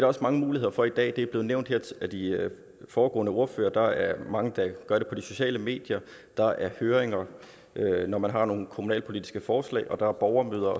også mange muligheder for i dag det er blevet nævnt af de foregående ordførere der er mange der gør det på de sociale medier der er høringer når man har nogle kommunalpolitiske forslag og der er borgermøder